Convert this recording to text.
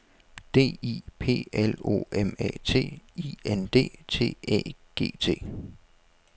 D I P L O M A T I N D T Æ G T